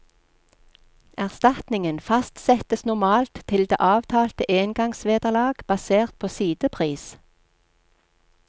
Erstatningen fastsettes normalt til det avtalte engangsvederlag basert på sidepris.